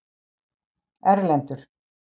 Erlendur